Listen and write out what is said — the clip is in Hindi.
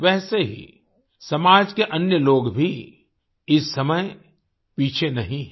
वैसे ही समाज के अन्य लोग भी इस समय पीछे नहीं हैं